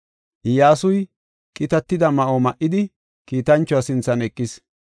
Iyyasuy qitatida ma7o ma77idi kiitanchuwa sinthan eqis.